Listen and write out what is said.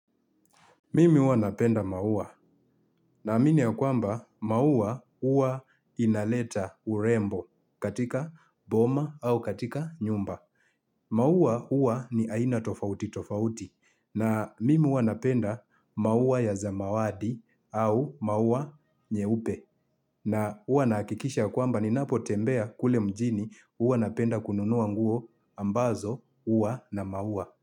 Mimi huwa napenda maua naamini ya kwamba maua huwa inaleta urembo katika boma au katika nyumba. Maua ua ni aina tofauti tofauti na mimi huwa napenda maua ya zamawadi au maua nyeupe na hua nahakikisha kwamba ninapo tembea kule mjini hua napenda kununua nguo ambazo huwa na maua.